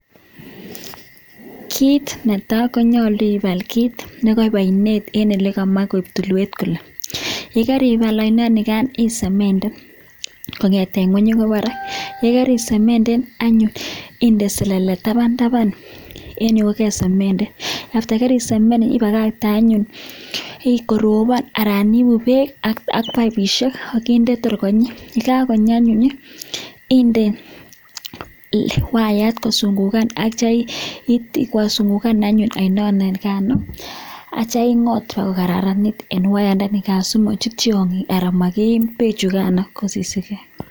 Kiit netaa konyolu ibaal kiit nekoik oinet en elekamach koik tulwet kole, yekaribal ainonikan isemenden kong'eten ngweny akoii barak, yekerisemenden anyun inde selelel taban taban en yuu ko kesemenden, after ko karisemenden ibakakte anyun orobon anan ibuu beek ak paipishek ak inde kotor konyii, yekakonyi anyun inde wayat kosung'ukan ak kityo ingosungukan anyun oino nikano akitio ing'ot bakokararanit en wayandanikan simochut tiong'ik alaan makiim bechukano kosisikee.